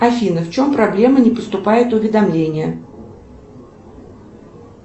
афина в чем проблема не поступает уведомление